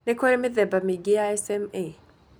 Nĩ kũrĩ mithemba mĩingĩ ya ya SMA.